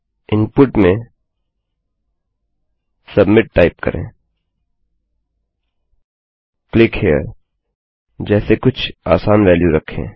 input में submit type करेंclick here जैसे कुछ आसान वेल्यू रखें